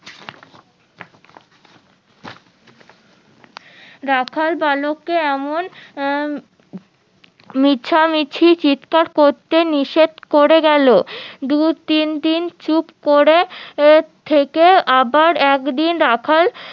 রাখাল বালক কে এমন উম মিছামিছি চিৎকার করতে নিষেদ করে গেলো দু তিনদিন চুপ করে থেকে আবার একদিন রাখাল